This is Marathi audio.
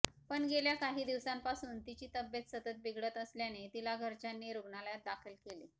पण गेल्या काही दिवसांपासून तिची तब्येत सतत बिघडत असल्याने तिला घरच्यांनी रुग्णालयात दाखल केले